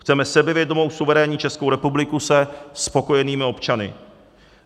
Chceme sebevědomou, suverénní Českou republiku se spokojenými občany.